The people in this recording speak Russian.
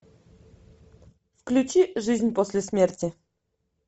включи жизнь после смерти